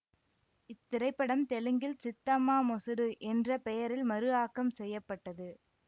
இத்திரைப்படம் தெலுங்கில் சித்தம்மா மொசுடு என்ற பெயரில் மறுஆக்கம் செய்ய பட்டது